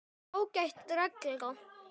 Það er ágæt regla.